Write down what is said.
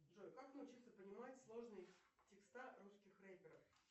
джой как научиться понимать сложные текста русских реперов